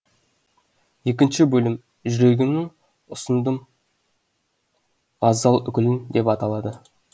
екінші бөлім жүрегімнің ұсындым ғазал гүлін деп аталады